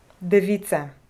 Device.